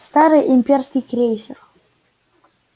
старый имперский крейсер